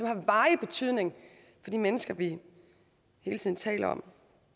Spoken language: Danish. har varig betydning for de mennesker vi hele tiden taler om